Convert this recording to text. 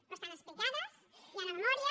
però estan explicades hi ha una memòria